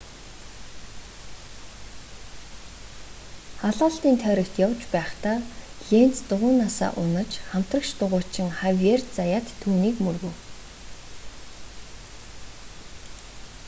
халаалтын тойрогт явж байхдаа ленц дугуйнаасаа унаж хамтрагч дугуйчин хавиер заяат түүнийг мөргөв